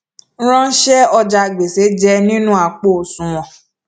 ránṣẹ ọjà gbèsè jẹ nínú àpò osùwọn